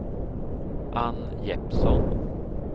Anne Jeppsson